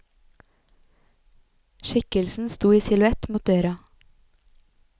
Skikkelsen sto i silhuett mot døra.